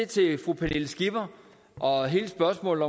til fru pernille skipper og hele spørgsmålet